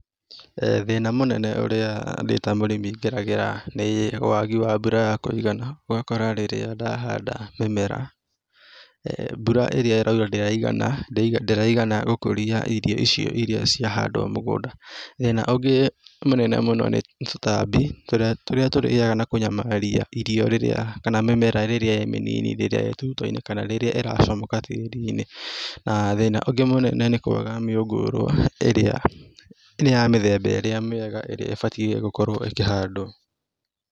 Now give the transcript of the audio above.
Thĩna mũnene ũrĩa ndĩ ta mũrĩmi ngeragĩra nĩ waagi wa mbura ya kũigana, ũgakora rĩrĩa ndahanda mĩmera, mbura ĩrĩa ĩraura ndĩraigana, ndĩraigana gũkũria irio icio iria ciahandwo mũgũnda.Thĩina ũngĩ mũnene mũno nĩ tũtambi, tũrĩa tũrĩaga na kũnyamaria irio rĩrĩa kana mĩmera rĩrĩa ĩ mĩnini rĩrĩa ĩtuto-inĩ kana rĩrĩa ĩrahamũka tĩĩri-inĩ, na thĩĩna ũngĩ mũnene nĩ kwaga mĩngũrũa ĩrĩa ya mĩthemba ĩrĩa mĩega ĩrĩa ĩbatiĩ gũkorũo ĩkĩhandwo.